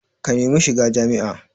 Ka nemi shiga jami'a